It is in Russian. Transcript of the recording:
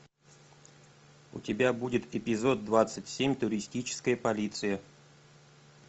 у тебя будет эпизод двадцать семь туристическая полиция